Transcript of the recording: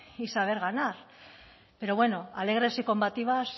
y saber ganar pero bueno alegres y combativas